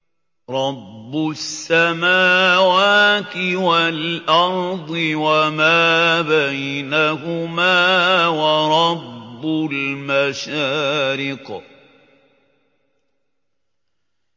رَّبُّ السَّمَاوَاتِ وَالْأَرْضِ وَمَا بَيْنَهُمَا وَرَبُّ الْمَشَارِقِ